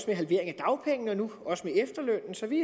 ved halveringen af dagpengene og nu også med efterlønnen så vi